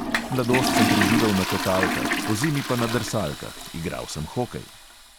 Mladost sem preživel na kotalkah, pozimi pa na drsalkah – igral sem hokej.